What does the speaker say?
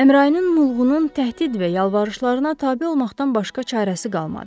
Əmrainin mulğunun təhdid və yalvarışlarına tabe olmaqdan başqa çarəsi qalmadı.